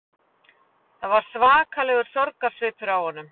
Það var svakalegur sorgarsvipur á honum